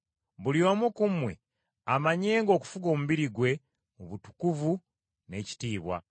buli omu ku mmwe amanyenga okufuga omubiri gwe mu butukuvu n’ekitiibwa,